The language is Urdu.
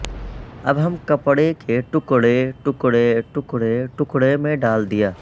اب ہم کپڑے کے ٹکڑے ٹکڑے ٹکڑے ٹکڑے میں ڈال دیا